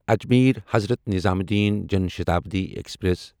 Ajmer Hazrat Nizamuddin Jan Shatabdi express